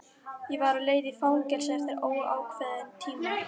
Ég var á leið í fangelsi eftir óákveðinn tíma.